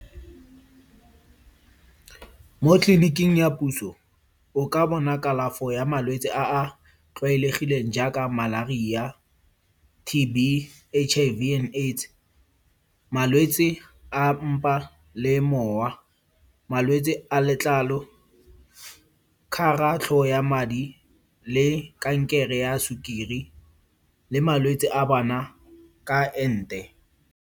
Mo tleliniking ya puso, o ka bona kalafo ya malwetse a a tlwaelegileng jaaka malaria, T_B, H_I_V and AIDS. Malwetse a mpa le mowa, malwetse a letlalo, kgaratlho ya madi le kankere ya sukiri le malwetse a bana ka ente.